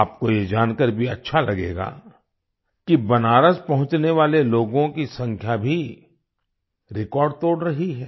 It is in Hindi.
आपको ये जानकार भी अच्छा लगेगा कि बनारस पहुँचने वाले लोगों की संख्या भी रेकॉर्ड तोड़ रही है